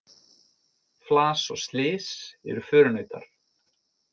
Flas og slys eru förunautar.